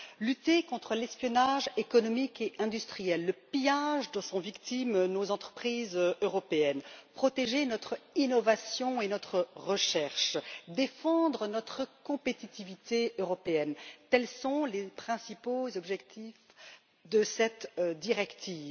Lutter contre l'espionnage économique et industriel, le pillage dont sont victimes nos entreprises européennes, protéger notre innovation et notre recherche, défendre notre compétitivité européenne, tels sont les principaux objectifs de cette directive.